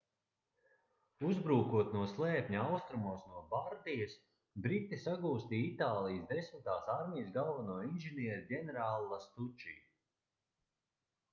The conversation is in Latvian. uzbrūkot no slēpņa austrumos no bardijas briti sagūstīja itālijas desmitās armijas galveno inženieri ģenerāli lastuči